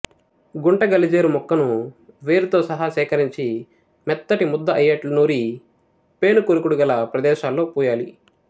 గుంట గలిజేరు మొక్కను వేరుతో సహా సేకరించి మెత్తటి ముద్ద అయ్యేట్లు నూరి పేనుకొరుకుడు గల ప్రదేశాల్లో పూయాలి